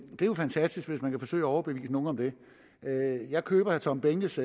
jo fantastisk at man vil forsøge at overbevise nogen om det jeg køber herre tom behnkes